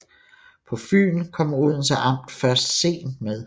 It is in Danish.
På Fyn kom Odense amt først sent med